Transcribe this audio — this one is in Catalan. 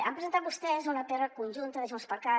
han presentat vostès una pr conjunta de junts per cat